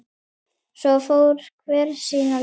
Svo fór hver sína leið.